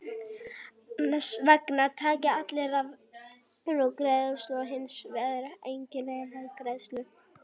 Annars vegar taka allir rafeyri sem greiðslu og hins vegar tekur enginn rafeyri sem greiðslu.